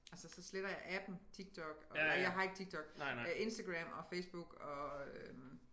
Altså så sletter jeg appen TikTok og jeg har ikke TikTok øh Instagram og Facebook og øh